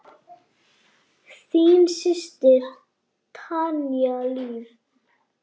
Þín systir, Tanya Líf.